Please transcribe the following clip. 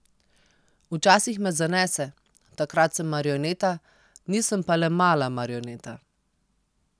Včasih me zanese, takrat sem marioneta, nisem pa le mala marioneta ...